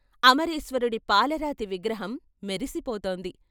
అమరేశ్వరుడి పాలరాతి విగ్రహం మెరిసిపోతోంది.